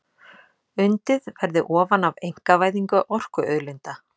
Undið verði ofan af einkavæðingu orkuauðlinda